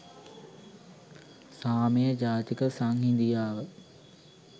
සාමය ජාතික සංහිඳියාව